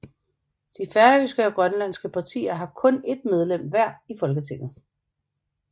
De færøske og grønlandske partier har kun et medlem hver i Folketinget